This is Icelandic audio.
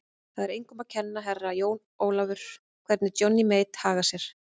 Það er engum að kenna, Herra Jón Ólafur, hvernig Johnny Mate hagar sér.